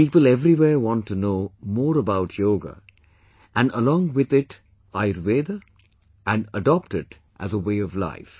People everywhere want to know more about 'Yoga' and along with it 'Ayurveda' and adopt it as a way of life